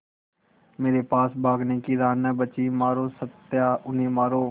मेरे पास भागने की राह न बची मारो सत्या उन्हें मारो